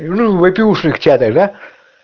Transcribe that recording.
во-первых я тогда